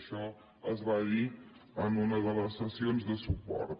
això es va dir en una de les sessions de su·port